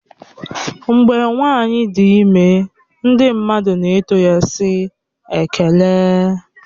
Mgbe nwanyi dị ime ndị mmadụ na-eto ya wee sị "Ekele"